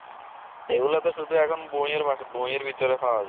এই গুলা তো শুধু এখন বই এর ভাষায় বইয়ের ভেতরে পাওয়া যায়